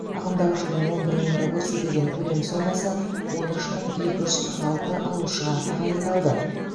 ағымдағы жылдың он бір айында көрсетілген төлем сомасы он үш мың екі жүз қырық алты алушыға тағайындалды